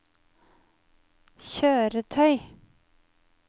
kjøretøy